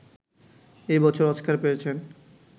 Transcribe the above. এ বছর অস্কার পেয়েছেন